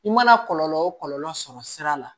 I mana kɔlɔlɔ o kɔlɔlɔ sɔrɔ sira la